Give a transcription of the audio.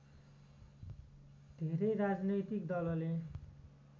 धेरै राजनैतिक दलले